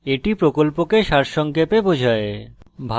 এটি প্রকল্পকে সারসংক্ষেপে বোঝায়